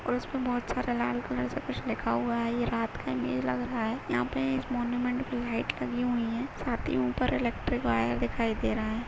और इसमें बहुत- सा लाल कलर से कुछ लिखा हुआ है ये रात का इमेज लग रहा है यहाँ पर रंग- बिरंगी लाइट लगी हुई है और यह ऊपर एल्क्ट्रिक वायर दिखाई दे रहा हैं।